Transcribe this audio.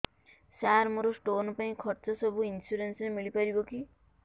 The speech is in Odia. ସାର ମୋର ସ୍ଟୋନ ପାଇଁ ଖର୍ଚ୍ଚ ସବୁ ଇନ୍ସୁରେନ୍ସ ରେ ମିଳି ପାରିବ କି